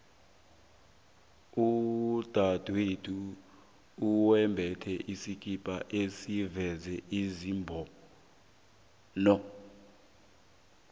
udadwethu wembethe isikhipa esiveza isibhono